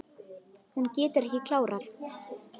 Hún getur ekki klárað.